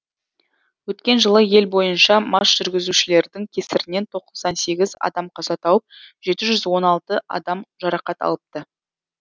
өткен жылы ел бойынша мас жүргізушілердің кесірінен тоқсан сегіз адам қаза тауып жеті жүз он алты адам жарақат алыпты